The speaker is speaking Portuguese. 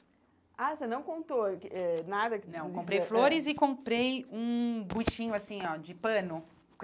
Ah, você não contou que eh nada que... Não, comprei flores e comprei um buchinho assim, ó, de pano.